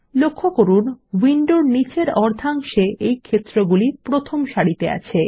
লক্ষ্য করুন উইন্ডোর নীচের অর্ধাংশে এই ক্ষেত্রগুলি প্রথম সারিতে আছে